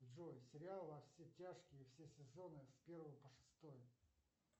джой сериал во все тяжкие все сезоны с первого по шестой